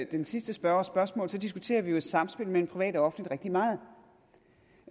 den sidste spørgers spørgsmål diskuterer vi jo et samspil mellem privat og offentligt rigtig meget